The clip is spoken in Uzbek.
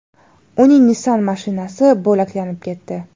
Uning Nissan mashinasi bo‘laklanib ketdi.